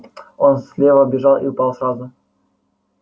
он слева бежал и упал сразу